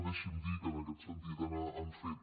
deixin me dir que en aquest sentit han fet